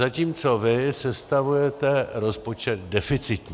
Zatímco vy sestavujete rozpočet deficitní.